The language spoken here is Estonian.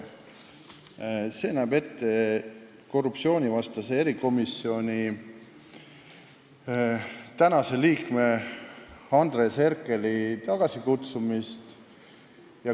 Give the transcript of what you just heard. See näeb ette korruptsioonivastase erikomisjoni tänase liikme Andres Herkeli tagasikutsumise.